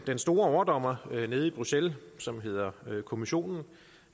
den store overdommer nede i bruxelles som hedder kommissionen